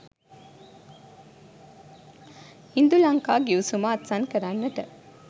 ඉන්දුලංකා ගිවිසුම අත්සන් කරන්නට